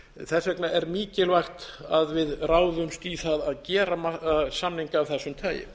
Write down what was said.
þess vegna er mikilvægt að við ráðumst í það að gera samning af þessu tagi